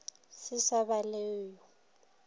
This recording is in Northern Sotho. se sa ba le yo